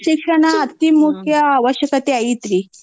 ಶಿಕ್ಷಣ ಅತೀ ಮುಖ್ಯ ಅವಶ್ಯಕತೆ ಐತ್ರೀ.